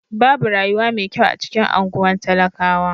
Babu rayuwa mai kyau a cikin anguwan talakawa.